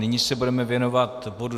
Nyní se budeme věnovat bodu